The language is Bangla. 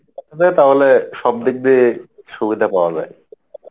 তাহলে সব দিক দিয়ে সুবিধা পাওয়া যাই